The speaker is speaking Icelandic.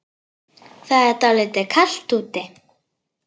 Það er dálítið kalt úti.